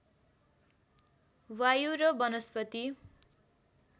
वायु र वनस्पति